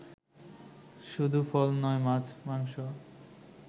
শুধু ফল নয় মাছ, মাংস